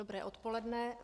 Dobré odpoledne.